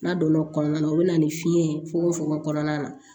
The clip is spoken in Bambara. N'a donna o kɔnɔna na o bɛ na ni fiɲɛ ye fogo fogo kɔnɔna na